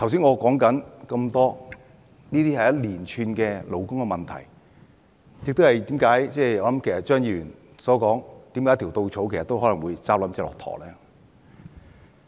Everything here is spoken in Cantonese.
我剛才提出的眾多例子，都是一連串的勞工問題，亦說明了為何張議員說一條稻草都可能壓垮駱駝。